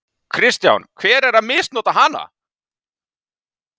Kristján: Hver er að misnota hana?